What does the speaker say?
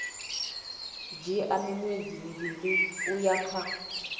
dzhia miṅwedzi mivhili uya kha